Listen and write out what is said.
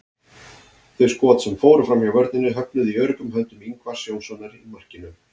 Þau skot sem fóru framhjá vörninni höfnuðu í öruggum höndum Ingvars Jónssonar í markinu.